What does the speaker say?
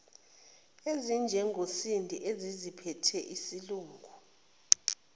ezinjengosindi eseziziphethe isilungu